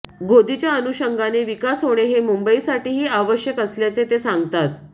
गोदीच्या अनुषंगाने विकास होणे हे मुंबईसाठीही आवश्यक असल्याचे ते सांगतात